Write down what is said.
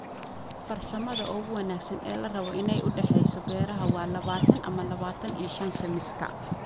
farsamadha ugu wanagsan ee larabo iney udaheyso beraha waa labatan ama labatan iyo shan sentimitar